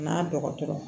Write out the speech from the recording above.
N'a dɔgɔtɔrɔ